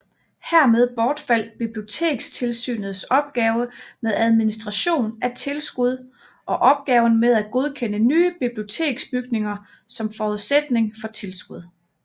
Hermed bortfald Bibliotekstilsynets opgave med administration af tilskud og opgaven med at godkende nye biblioteksbygninger som forudsætning for tilskud